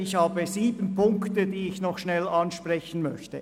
Ich habe sieben Punkte, die ich noch einmal ansprechen möchte.